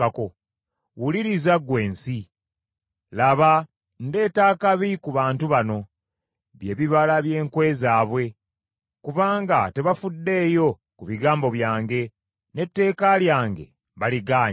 Wuliriza, ggwe ensi: laba, ndeeta akabi ku bantu bano, by’ebibala by’enkwe zaabwe, kubanga tebafuddeeyo ku bigambo byange n’etteeka lyange baligaanye.